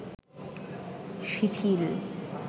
শিথিল